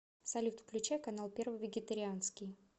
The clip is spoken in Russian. салют включай канал первый вегетарианский